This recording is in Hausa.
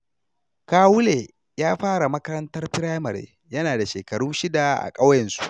Kawule ya fara makarantar firamare yana da shekaru shida a ƙauyensu.